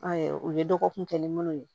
u ye dɔgɔkun kɛ ni minnu ye